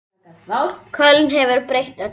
Köln hefur breytt öllu.